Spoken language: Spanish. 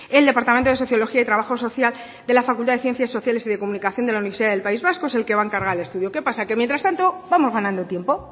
el departamento de sociología y trabajo social de la facultad de ciencias sociales y de comunicación de la universidad del país vasco es el que va a encargar el estudio qué pasa que mientras tanto vamos ganando tiempo